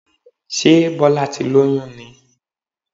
Sé Bọ́lá ti lóyún ni?